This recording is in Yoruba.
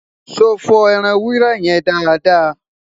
so fo ẹran ewúrẹ́ yẹ dáadáa?